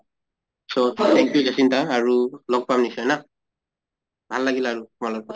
so thank you জাচিন্তা আৰু লগ পাম নিশ্চয় না । ভাল লাগিল আৰু তোমাৰ লগত কথা